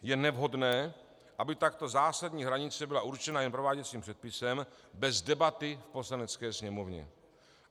Je nevhodné, aby takto zásadní hranice byla určena jen prováděcím předpisem bez debaty v Poslanecké sněmovně.